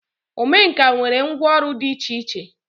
Omenkà nwere ngwọ ọrụ dị iche iche.